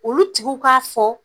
Olu tiguw k'a fɔ